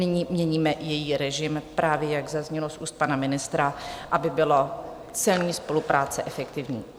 Nyní měníme její režim právě, jak zaznělo z úst pana ministra, aby byla celní spolupráce efektivní.